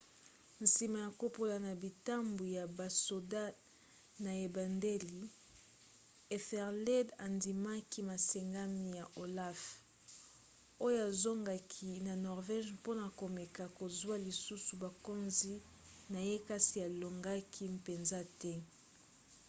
nsima ya kopola na bitumba ya basoda na ebandeli ethelred andimaki masengami ya olaf oyo azongaki na norvège mpona komeka kozwa lisusu bokonzi na ye kasi alongaki mpenza te